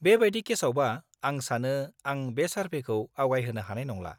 बेबायदि केसआवबा, आं सानो आं बे सरभेखौ आवगायहोनो हानाय नंला।